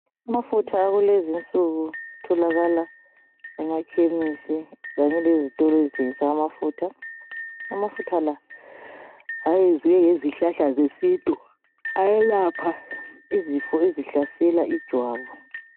Amafutha akulezinsuku atholakala emakhemesi kanye lezitolo ezithengisa amafutha, amafutha la ayenziwe ngezihlahla zesintu ayelapha izifo esihlasela ijwabu.